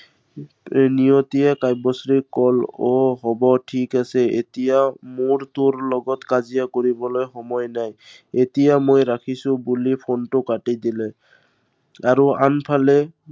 নিয়তিয়ে কাব্যশ্ৰীক আহ হব ঠিক আছে, এতিয়া মোৰ তোৰ লগত কাজিয়া কৰিবলৈ সময় নাই। এতিয়া মই ৰাখিছো বুলি phone টো কাটি দিলে। আৰু আনফালে